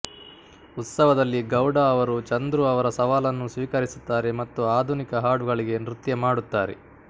ಉತ್ಸವದಲ್ಲಿ ಗೌಡ ಅವರು ಚಂದ್ರು ಅವರ ಸವಾಲನ್ನು ಸ್ವೀಕರಿಸುತ್ತಾರೆ ಮತ್ತು ಆಧುನಿಕ ಹಾಡುಗಳಿಗೆ ನೃತ್ಯ ಮಾಡುತ್ತಾರೆ